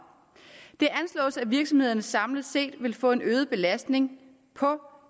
det anslås at virksomhederne samlet set vil få en øget belastning på